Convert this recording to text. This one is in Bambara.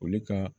Olu ka